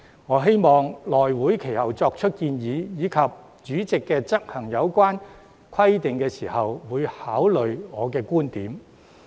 我希望內務委員會其後作出建議，以及主席執行有關規定時，會考慮我的觀點。